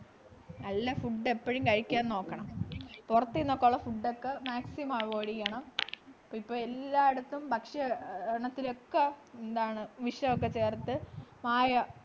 നല്ല food ഇപ്പോഴും കഴിക്കാൻ നോക്കണം പുറത്തുനിന്നുള്ള food ഒക്കെ maximum avoid ചെയ്യണം ഇപ്പോ എല്ലായിടത്തും ഭക്ഷ്യ ആഹ് ലൊക്കെ ന്താണ് ചേർത്ത് മായ